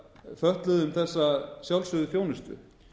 fötluðum þessa sjálfsögðu þjónustu